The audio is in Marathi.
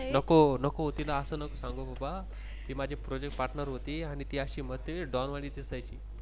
नको नको तिला अस नको सांगू बाबा. ती माझी Project Partner होती आणि अशी म्हणजे Don वाणी दिसायची.